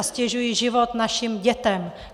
A ztěžují život našim dětem!